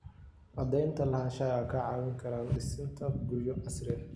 Cadaynta lahaanshaha waxay kaa caawin kartaa dhisidda guryo casri ah.